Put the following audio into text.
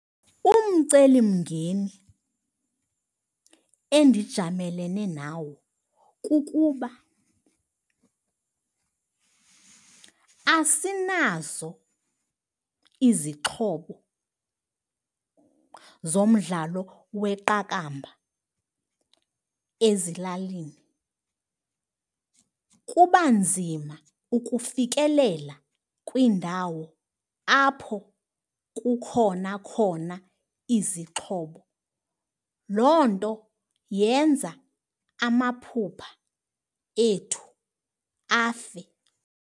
Umcelimngeni endijamelene nawo kukuba asinazo izixhobo zomdlalo weqakamba ezilalini. Kuba nzima ukufikelela kwiindawo apho kukhona khona izixhobo, loo nto yenza amaphupha ethu afe.